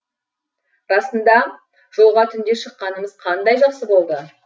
расында жолға түнде шыққанымыз қандай жақсы болды